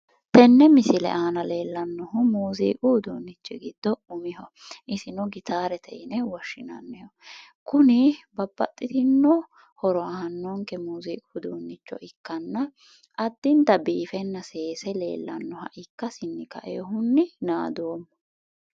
Tenne misile aana leellannohu muuziiqu uduunni giddo umiho. Isino gitaarete yine woshshinanniho. Kuni babbaxxitinno horo aannonke muuziiqu uduunnicho ikkanna addinta biifenna seese leellannoha ikkasinni kaiwohunni naadoomma.